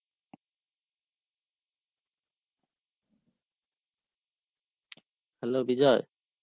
Hello Bijoy?